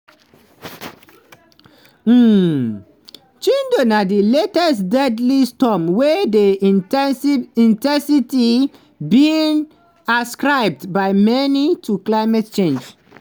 um chido na di latest deadly storm wey dey in ten sity being ascribed by many to climate change.